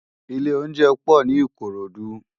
Ilé óunjẹ pò ni Ikorodu